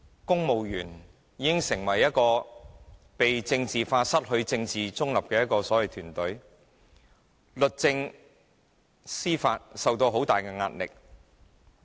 公務員已經被政治化、失去政治中立的團隊，律政、司法受到很大的壓力。